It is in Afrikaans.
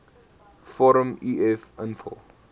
vorm uf invul